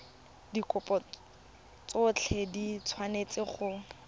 dikopo tsotlhe di tshwanetse go